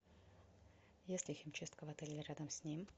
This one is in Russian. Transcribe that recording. есть ли химчистка в отеле или рядом с ним